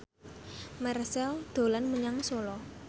Marchell dolan menyang Solo